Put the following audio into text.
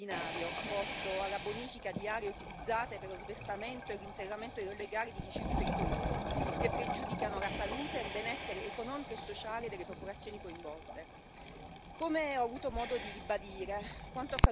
Alla Commissione ora si chiede un intervento e uno sforzo straordinario, volto alla bonifica di aree utilizzate per lo sversamento e l'interramento illegale di rifiuti pericolosi, che pregiudicano la salute e il benessere economico e sociale delle popolazioni coinvolte.